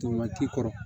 To waati kɔrɔ